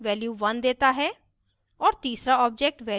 दूसरा object value 1 देता है